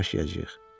Necə yaşayacağıq?